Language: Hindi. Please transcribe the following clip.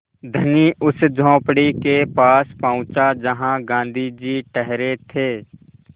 धनी उस झोंपड़ी के पास पहुँचा जहाँ गाँधी जी ठहरे थे